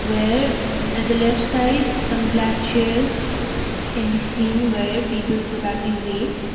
where at the left side some black chairs can be seen where people probably wait.